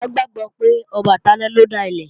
Àrọ́sọ ilẹ̀ Yorùbá gbàgbó pé Ọbàtálá lọ dá ilé